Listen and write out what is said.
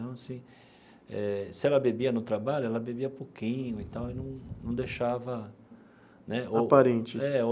Então assim eh, se ela bebia no trabalho, ela bebia pouquinho e tal não não deixava né... Aparente. É ou.